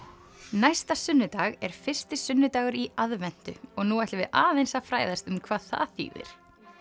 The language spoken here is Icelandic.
næsta sunnudag er fyrsti sunnudagur í aðventu og nú ætlum við aðeins að fræðast um hvað það þýðir